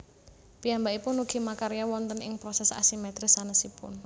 Piyambakipun ugi makarya wonten ing proses asimetris sanésipun